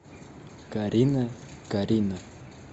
карина карина